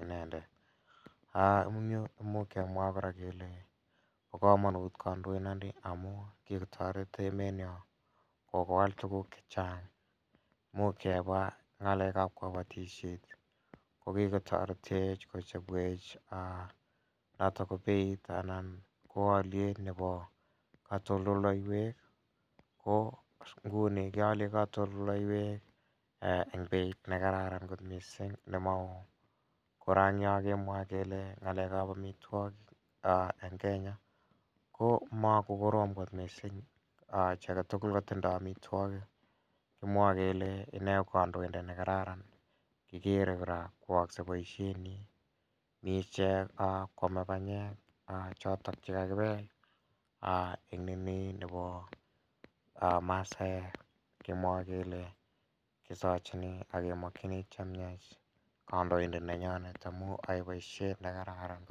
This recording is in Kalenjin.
inendet imuche kemwa kele ba kamanut kandoindet ni amu kikotaret emenyon kobar tukuk chechang imuch kemwa ng'alekab kabatisiet kokikotaret kochabwech beit anan ko aliet nebo katoltolleywek ko nguni kialen katoltolleywek en beit nekararan kot missing nemauuvkora en Yoh kemwa kele ng'alekab amituakik en Kenya komakokorom kot missing chiaketugul kotindo amituakik. Komwae kele inee ko kandoindet nekararan kikere kora koyaakse boisionik, mi cheame panyek chekakibel ini nebo maasaek kemwae kele kisachiini ake makieni chemiach. Amuun yae boisiet nekararan